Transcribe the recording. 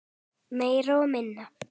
Meira og minna.